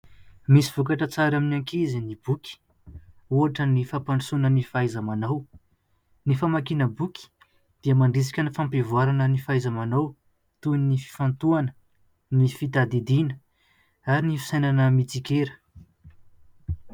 Misy vokatra tsara amin'ny ankizy ny boky, ohatra ny fampandrosoana ny fahaiza-manao ; ny famakiana boky dia mandrisika ny fampivoarana ny fahaiza-manao toy ny fifantohana, ny fitadidiana ary ny fisainana mitsikera.